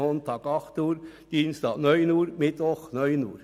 Montag: 08.00 Uhr, Dienstag: 09.00 Uhr, Mittwoch: 09.00 Uhr.